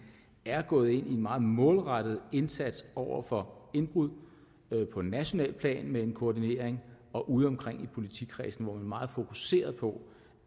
er gået ind i en meget målrettet indsats over for indbrud på nationalt plan med en koordinering udeomkring i politikredsene hvor meget fokuseret på